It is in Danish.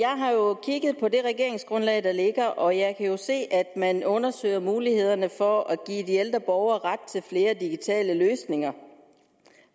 har jo kigget på det regeringsgrundlag der ligger og jeg kan se at man undersøger mulighederne for at give de ældre borgere ret til flere digitale løsninger